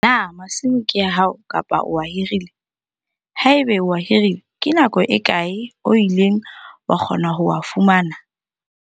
Na masimo ke a hao kapa o a hirile? Haeba o a hirile, ke nako e kae o ileng wa kgona ho a fumana?